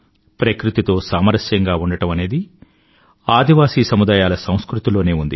ప్రకృతితో సామరస్యంగా ఉండటం అనేది మన ఆదివాసీల సంస్కృతిలో ఉంది